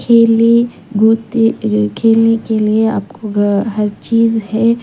खेलने गोते अ खेलने के लिए आपको ग हर चीज़ है।